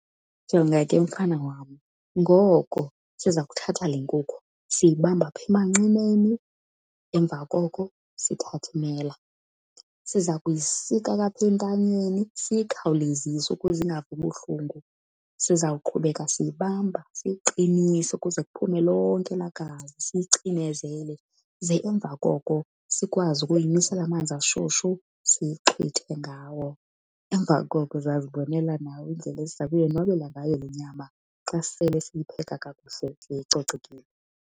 Jonga ke mfana wam, ngoku siza kuthatha le nkukhu, siyibamba apha emanqineni emva koko sithathe imela. Siza kuyisika ke apha entanyeni siyikhawulezise ukuze ingavi ubuhlungu. Sizawuqhubeka siyibamba siyiqinise ukuze kuphuma lonke elaa gazi siyicinezele, ze emva koko sikwazi ukuyimisela amanzi ashushu siyixhwithe ngawo. Emva koko uzazibonela nawe indlela esiza kuyonwabela ngayo le nyama xa sisele siyipheka kakuhle seyicocekile.